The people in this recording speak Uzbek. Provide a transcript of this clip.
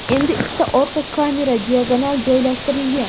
Endi ikkita orqa kamera diagonal joylashtirilgan.